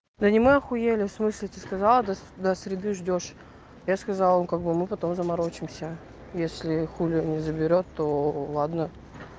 да не мы ахуели в смысле ты сказал до до среды ждёшь я сказал им как бы мы потом заморочимся если хулер не заберёт то ладно